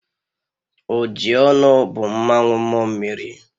Ojionu bu mmanwu mmuo mmiri.